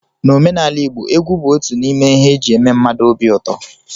N'omenala igbo, egwu bụ otu n'ime ihe eji eme mmadụ obi ụtọ